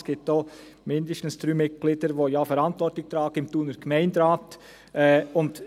Es gibt auch mindestens drei Mitglieder, die Verantwortung im Thuner Gemeinderat tragen.